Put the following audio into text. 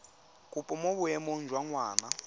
kopo mo boemong jwa ngwana